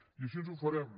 i així ho farem